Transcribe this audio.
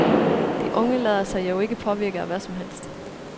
De unge lader sig jo ikke påvirke af hvad som helst.